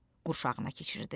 qurşağına keçirdi.